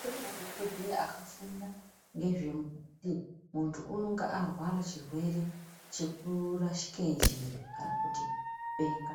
Kune madhogodheya akafunda ngezvekuti muntu unonga arwara chirwere chekurashike njere kana kuti kupenga.